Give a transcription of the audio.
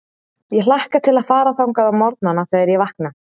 Ég hlakka til að fara þangað á morgnana, þegar ég vakna.